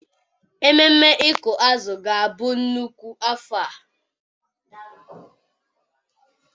Ememme ịkụ azụ ga-abụ nnukwu afọ a.